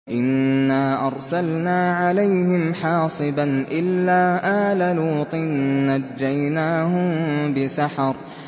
إِنَّا أَرْسَلْنَا عَلَيْهِمْ حَاصِبًا إِلَّا آلَ لُوطٍ ۖ نَّجَّيْنَاهُم بِسَحَرٍ